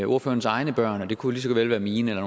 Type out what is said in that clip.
ordførerens egne børn og det kunne lige så vel være mine